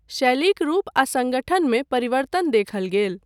शैलीक रूप आ सङ्गठन मे परिवर्तन देखल गेल।